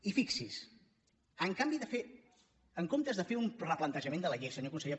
i fixi’s en comptes de fer un replantejament de la llei senyor conseller